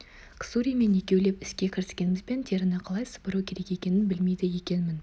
ксуримен екеулеп іске кіріскенімізбен теріні қалай сыпыру керек екенін білмейді екенмін